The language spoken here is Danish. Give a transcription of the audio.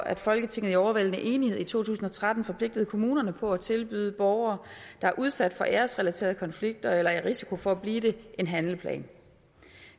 at folketinget i overvældende enighed i to tusind og tretten forpligtede kommunerne på at tilbyde borgere der er udsat for æresrelaterede konflikter eller er i risiko for at blive det en handleplan